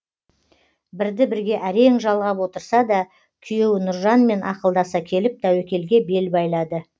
бірді бірге әрең жалғап отырса да күйеуі нұржанмен ақылдаса келіп тәуекелге бел байлады